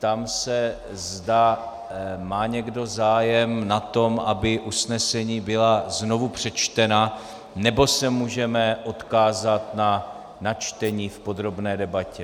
Ptám se, zda má někdo zájem na tom, aby usnesení byla znovu přečtena, nebo se můžeme odkázat na načtení v podrobné debatě.